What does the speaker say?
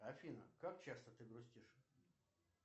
афина как часто ты грустишь